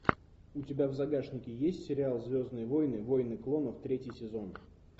у тебя в загашнике есть сериал звездные войны войны клонов третий сезон